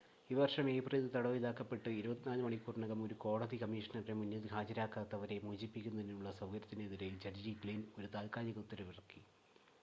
ഈ വർഷം ഏപ്രിലിൽ തടവിലാക്കപ്പെട്ട് 24 മണിക്കൂറിനകം ഒരു കോടതി കമ്മീഷണറുടെ മുന്നിൽ ഹാജരാകാത്തവരെ മോചിപ്പിക്കുന്നതിനുള്ള സൗകര്യത്തിനെതിരെ ജഡ്ജി ഗ്ലിൻ ഒരു താത്കാലിക ഉത്തരവിറക്കി